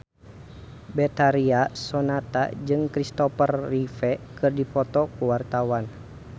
Betharia Sonata jeung Christopher Reeve keur dipoto ku wartawan